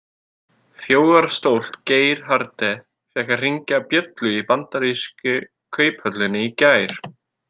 Þjóðarstolt Geir Haarde fékk að hringja bjöllu í bandarísku kauphöllinni í gær.